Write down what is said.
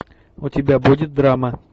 у тебя будет драма